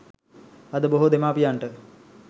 අද බොහෝ දෙමාපියන්ට